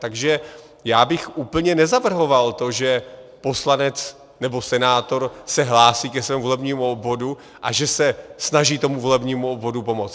Takže já bych úplně nezavrhoval to, že poslanec nebo senátor se hlásí ke svému volebnímu obvodu a že se snaží tomu volebnímu obvodu pomoci.